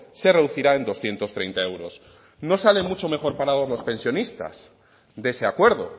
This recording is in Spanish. se reducirá en doscientos treinta euros no sale mucho mejor parados los pensionistas de ese acuerdo